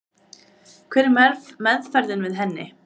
Hver er meðferðin við henni?